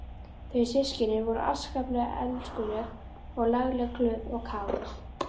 Þau systkinin voru afskaplega elskuleg og lagleg, glöð og kát.